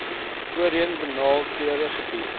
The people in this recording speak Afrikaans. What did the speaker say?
voorheen benadeelde gebiede